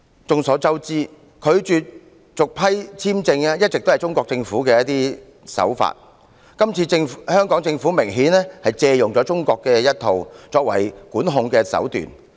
眾所周知，拒絕續批簽證是中國政府的慣常手法，今次香港政府明顯借用了中國的管控手段。